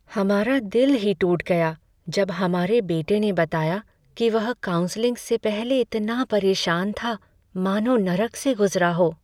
हमारा दिल ही टूट गया जब हमारे बेटे ने बताया कि वह काउंसलिंग से पहले इतना परेशान था मानो नरक से गुजरा हो।